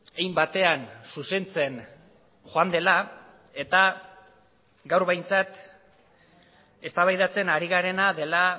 hein batean zuzentzen joan dela eta gaur behintzat eztabaidatzen ari garena dela